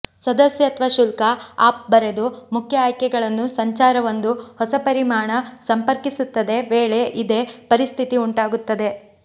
ಸದಸ್ಯತ್ವ ಶುಲ್ಕ ಆಫ್ ಬರೆದು ಮುಖ್ಯ ಆಯ್ಕೆಗಳನ್ನು ಸಂಚಾರ ಒಂದು ಹೊಸ ಪರಿಮಾಣ ಸಂಪರ್ಕಿಸುತ್ತದೆ ವೇಳೆ ಇದೇ ಪರಿಸ್ಥಿತಿ ಉಂಟಾಗುತ್ತದೆ